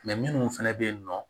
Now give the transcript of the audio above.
minnu fana bɛ yen nɔ